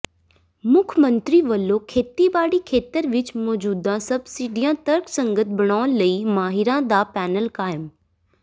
ਮੁੱਖ ਮੰਤਰੀ ਵੱਲੋਂ ਖੇਤੀਬਾੜੀ ਖੇਤਰ ਵਿੱਚ ਮੌਜੂਦਾ ਸਬਸਿਡੀਆਂ ਤਰਕਸੰਗਤ ਬਣਾਉਣ ਲਈ ਮਾਹਿਰਾਂ ਦਾ ਪੈਨਲ ਕਾਇਮ